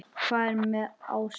Hvað er með ásum?